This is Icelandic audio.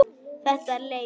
Þetta er leiðin.